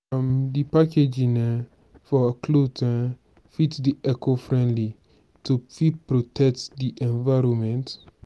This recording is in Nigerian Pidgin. um di packaging um for cloth um fit dey eco-friendly to fit protect di environment